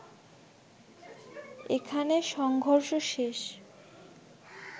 একে খানে সংঘর্ষ শেষ